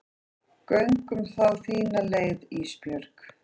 Göngum þá þína leið Ísbjörg.